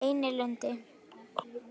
Einilundi